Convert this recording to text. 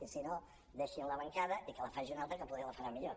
i si no deixin la bancada i que la faci un altre que poder la farà millor